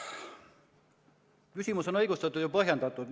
Küsimus on õigustatud ja põhjendatud.